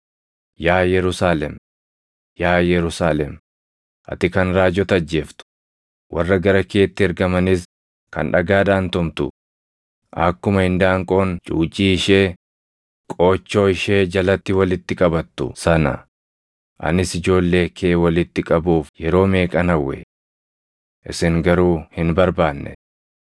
“Yaa Yerusaalem, yaa Yerusaalem, ati kan raajota ajjeeftu, warra gara keetti ergamanis kan dhagaadhaan tumtu, akkuma indaanqoon cuucii ishee qoochoo ishee jalatti walitti qabattu sana anis ijoollee kee walitti qabuuf yeroo meeqan hawwe! Isin garuu hin barbaanne.